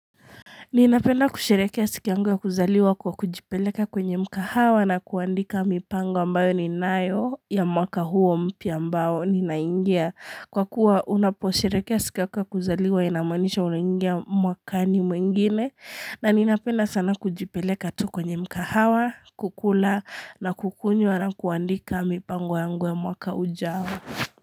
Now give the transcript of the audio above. Ninapenda kusherehekea siku yangu ya kuzaliwa kwa kujipeleka kwenye mkahawa na kuandika mipango ambayo ninayo ya mwaka huo mpya ambao ninaingia. Kwa kuwa unaposherehekea siku yangu ya kuzaliwa inamaanisha unaingia mwaka ni mwingine na ninapenda sana kujipeleka tu kwenye mkahawa, kukula na kukunywa na kuandika mipango ya mwaka ujao.